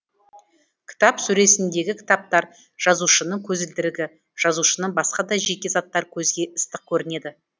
кітап сөресіндегі кітаптар жазушының көзілдірігі жазушының басқа да жеке заттары көзге ыстық көрінеді